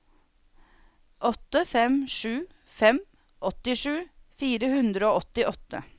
åtte fem sju fem åttisju fire hundre og åttiåtte